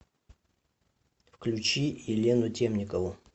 включи елену темникову